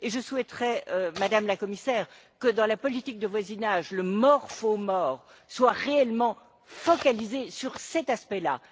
Je souhaiterais, Madame la Commissaire, que dans la politique de voisinage, le more for more soit réellement focalisé sur cet aspect là.